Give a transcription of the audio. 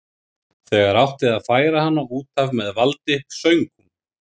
Þegar átti að færa hana út af með valdi söng hún